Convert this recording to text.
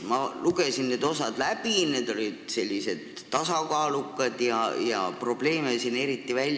Ma lugesin need osad läbi, need olid tasakaalukad ja probleeme siin eriti ei nimetatud.